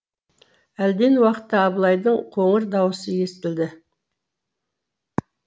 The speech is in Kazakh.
әлден уақытта абылайдың қоңыр даусы естілді